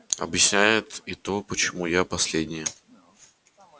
объясняет и то почему я последнее